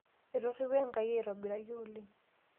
Etoripo Enkai aitobiraki oleng.